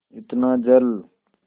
इतना जल